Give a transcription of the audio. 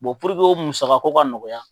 puruke o musakako ka nɔgɔya